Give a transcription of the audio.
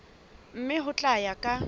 mme ho tla ya ka